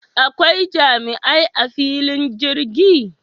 Akwai jami'ai a fillin jirgi?